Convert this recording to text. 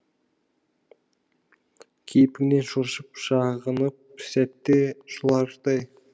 кейпіңнен шошып шағынып сәтте жылардай